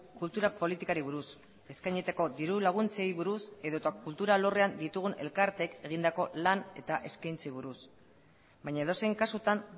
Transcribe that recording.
kultura politikari buruz eskainitako diru laguntzeei buruz edota kultura alorrean ditugun elkartek egindako lan eta eskaintzeei buruz baina edozein kasutan